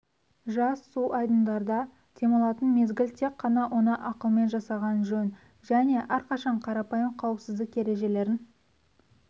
жаз су айдындарда демалатын мезгіл тек қана оны ақылмен жасаған жөн және әрқашан қарапайым қауіпсіздік ережелерін